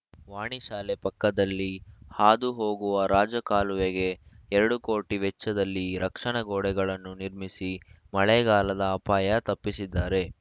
ವಾಣಿ ಶಾಲೆ ಪಕ್ಕದಲ್ಲಿ ಹಾದು ಹೋಗುವ ರಾಜಕಾಲುವೆಗೆ ಎರಡು ಕೋಟಿ ವೆಚ್ಚದಲ್ಲಿ ರಕ್ಷಣಾ ಗೋಡೆಗಳನ್ನು ನಿರ್ಮಿಸಿ ಮಳೆಗಾಲದ ಅಪಾಯ ತಪ್ಪಿಸಿದ್ದಾರೆ